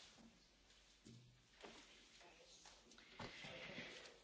Svugdje ima kriminala i može se to dogoditi i u europskim zemljama.